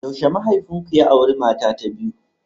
Yaushe mahaifinku ya auri mata ta biyu?